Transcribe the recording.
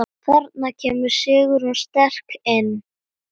Þarna kemur Sigrún sterk inn.